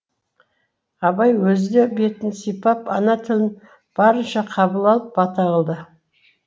абай өзі де бетін сипап ана тілін барынша қабыл алып бата қылды